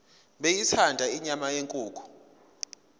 beyithanda inyama yenkukhu